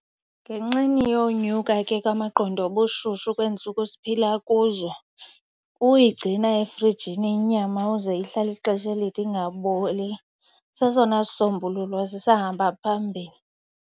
Ngenxeni yonyuka ke kwamaqondo obushushu kweentsuku siphila kuzo, uyigcina efrijini inyama kuze ihlale ixesha elide ingaboli sesona sisombululo sisahamba phambili.